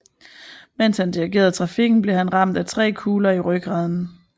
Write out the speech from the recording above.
Mens han dirigerede trafikken blev han ramt af tre kugler i rygraden